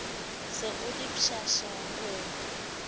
se o le pshasha ho